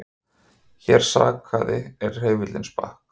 Engan sakaði er hreyfill sprakk